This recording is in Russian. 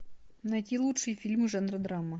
найти лучшие фильмы жанра драма